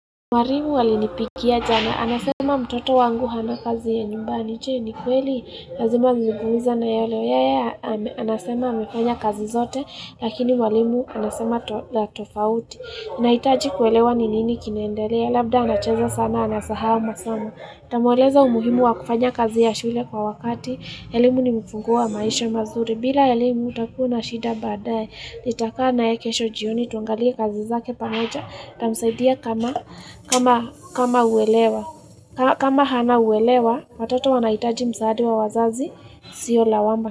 Mwarimu alinipikia jana, anasema mtoto wangu hana kazi ya nyumbani, je ni kweli, lazima nibumiza naye leo, yeye anasema amefanya kazi zote, lakini walimu anasema la tofauti. Naitaji kuelewa ni nini kinaendelea, labda anacheza sana anasahau masamo. Tamueleza umuhimu wa kufanya kazi ya shule kwa wakati, elimu ni mfunguo wa maisha mazuri, bila elimu utakua na shida baadae. Nitakaa naye kesho jioni tuangalie kazi zake pamoja ndamsaidia kama kama hana uelewa Watoto wanaitaji msaada wa wazazi sio lawama.